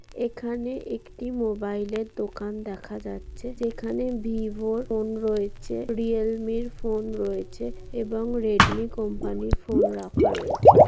এখানে একটি মোবাইলের দোকান দেখা যাচ্ছে | যেখানে ভিভো এর ফোন রয়েছে | রিয়েলমির ফোন রয়েছে এবং রেডমি কোম্পানির ফোন রাখা রয়েছে ।